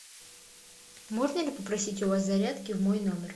можно ли попросить у вас зарядки в мой номер